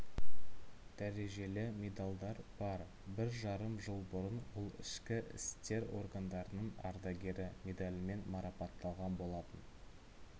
дәрежелі медалдар бар бір жарым жыл бұрын ол ішкі істер органдарының ардагері медалімен марапатталған болатын